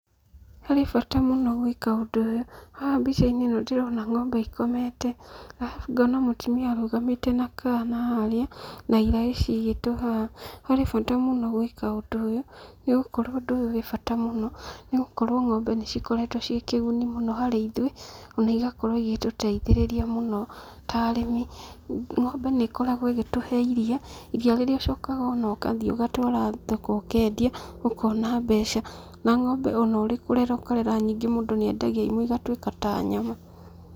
Harĩ bata mũno gwĩka ũndũ ũyũ. Haha mbica-inĩ ĩno ndĩrona ng'ombe ikomete, arabu ngona mũtumia arũgamĩte na kana harĩa na iraĩ ciigĩtwo haha. Harĩ bata mũno gwĩka ũndũ ũyũ, nĩgũkorwo ũndũ ũyũ wĩ bata mũno, nĩgũkorwo ng'ombe nĩcikoretwo ciĩ kĩguni mũno harĩ ithuĩ, ona igakorwo igĩtũteithĩrĩria mũno ta arĩmi. Ng'ombe nĩikoragwo igĩtuhe iria, iria rĩrĩa ũcokaga ũgathiĩ ũgatwara thoko ũkendia ũkona mbeca. Na ng'ombe ona ũrĩ kũrera ũkarera nyingĩ mũndũ nĩendagia imwe igatuĩka ta nyama.